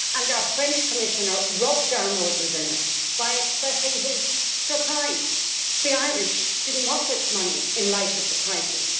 Our French Commissioner rubbed our noses in it by expressing his surprise the Irish did not want this money in light of the crisis.